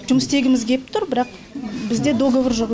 жұмыс істегіміз кеп тұр бірақ бізде договор жоқ